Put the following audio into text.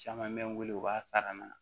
Caman bɛ n wele u b'a fara n na